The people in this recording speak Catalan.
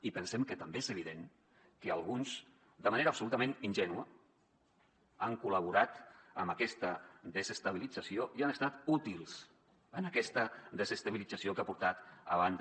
i pensem que també és evident que alguns de manera absolutament ingènua han col·laborat amb aquesta desestabilitza·ció i han estat útils en aquesta desestabilització que ha portat a banda